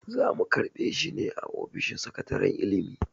Za mu karɓe shi ne a ofishin sakataren ilimi.